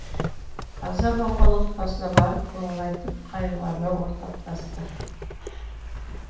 қаза болған отбасына барып көңіл айтып қайғыларына ортақтасты